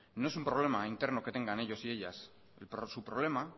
no es un problema interno que tengan ellos y ellas su problema